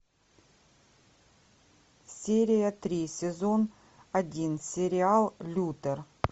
серия три сезон один сериал лютер